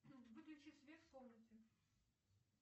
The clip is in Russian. выключи свет в комнате